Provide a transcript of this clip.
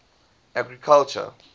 agriculture